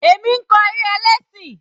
Èmi ń kọ eré ẹlẹ́ṣìn.